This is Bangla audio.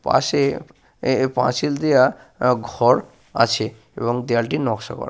পাশে এ এ পাঁচিল দেওয়া আহ ঘর আছে এবং দেওয়ালটি নকশা করা।